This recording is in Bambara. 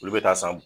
Olu bɛ taa san